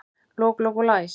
Lok, lok og læs